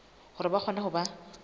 hore ba kgone ho ba